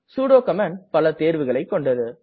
sudo command பல தேர்வுகளைக் கொண்டது